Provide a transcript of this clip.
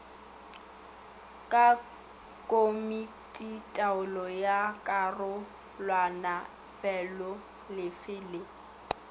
ke komititaolo ya karolwanafeloolefe le